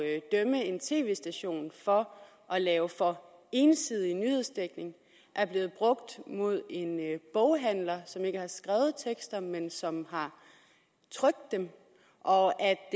at dømme en tv station for at lave for ensidig nyhedsdækning er blevet brugt mod en boghandler som ikke har skrevet tekster men som har trykt dem og